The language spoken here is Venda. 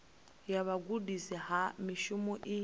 ya vhugudisi ha mushumo i